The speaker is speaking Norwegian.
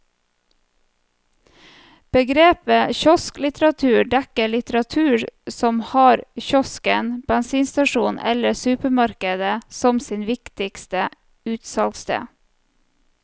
Begrepet kiosklitteratur dekker litteratur som har kiosken, bensinstasjonen eller supermarkedet som sitt viktigste utsalgssted.